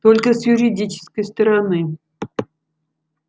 только с юридической стороны